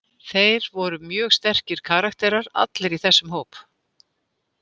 Þeir voru mjög sterkir karakterar allir í þessum hóp.